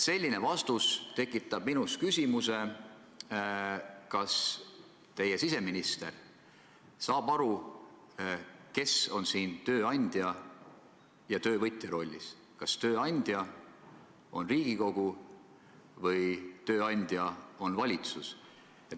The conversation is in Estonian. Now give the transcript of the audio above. " Selline vastus tekitab küsimuse, kas teie siseminister saab aru, kes on siin tööandja ja kes töövõtja rollis, kas tööandja on Riigikogu või tööandja on valitsus.